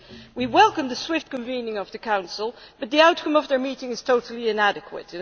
We welcome the swift convening of the Council, but the outcome of their meeting is totally inadequate